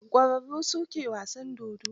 Ķwararru ne su ke wasan dodo.